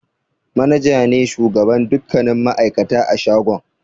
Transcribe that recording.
Manaja ne shugaban dukkanin ma'aikata a shagon.